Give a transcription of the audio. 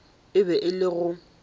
e be e le go